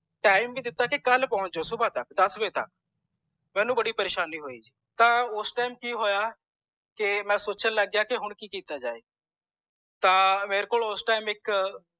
time ਵੀ ਦਿਤਾ ਕਿ ਕਲ ਪੌਂਚ ਜੀਓ ਸੁਬਾਹ ਦਸ ਵਜੇ ਤਕ ਮੈਨੂੰ ਬੜੀ ਪ੍ਰੇਸ਼ਾਨੀ ਹੋਇ ਤਾਂ ਓਸ time ਕਿ ਹੋਇਆ ਕੇ ਮੈਂ ਸੋਚਣ ਲੱਗ ਪੀਯਾ ਕਿ ਹੁਣ ਕਿ ਕੀਤਾ ਜਾਏ ਤਾਂ ਮੇਰੇ ਕੋਲ ਓਸ time ਇਕ